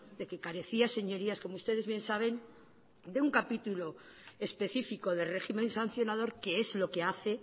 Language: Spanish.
de que carecía señorías como ustedes bien saben de un capítulo específico de régimen sancionador que es lo que hace